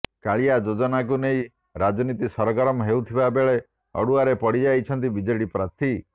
କାଳିଆ ଯୋଜନାକୁ ନେଇ ରାଜନୀତି ସରଗରମ ହେଉଥିବା ବେଳେ ଅଡୁଆରେ ପଡି ଯାଇଛନ୍ତି ବିଜେଡି ପ୍ରାର୍ଥୀ